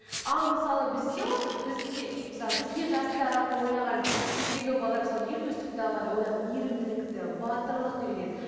ал мысалы бізде осы біз мысалы бізбен жасты аралықта ойнаған кездегі балалар мысалы ертөстікті алғанда одан мейірімділікті батырлықты үйренеді